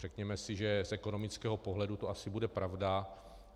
Řekněme si, že z ekonomického pohledu to asi bude pravda.